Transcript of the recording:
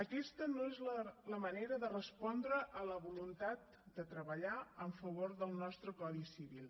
aquesta no és la manera de respondre a la voluntat de treballar a favor del nostre codi civil